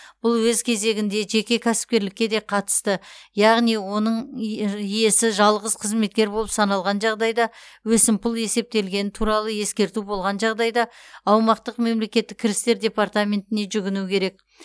бұл өз кезегінде жеке кәсіпкерлікке де қатысты яғни оның иесі жалғыз қызметкер болып саналған жағдайда өсімпұл есептелгені туралы ескерту болған жағдайда аумақтық мемлекеттік кірістер департаментіне жүгіну керек